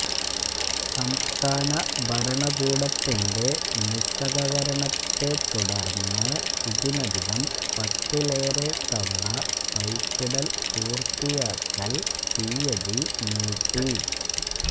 സംസ്ഥാന ഭരണകൂടത്തിന്റെ നിസ്സഹകരണത്തെ തുടര്ന്ന് ഇതിനകം പത്തിലേറെ തവണ പൈപ്പിടല് പുര്ത്തിയാക്കല് തീയതി നീട്ടി